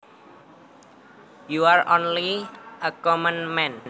You are only a common man